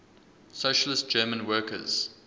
socialist german workers